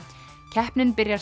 keppnin byrjar